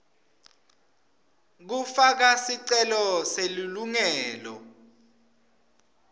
kufaka sicelo selilungelo